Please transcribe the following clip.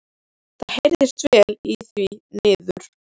Það heyrðist vel í því niður.